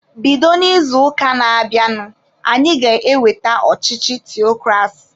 Bido n'izuụka na-abịanụ anyị ga-eweta ọchịchị theokrasi!